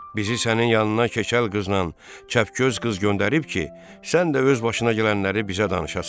Bizi sənin yanına keçəl qızla çəpgöz qız göndərib ki, sən də öz başına gələnləri bizə danışasan.